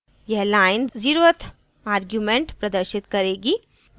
यह line 0th zeroeth argument प्रदर्शित करेगी